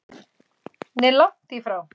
Nei, langt í frá.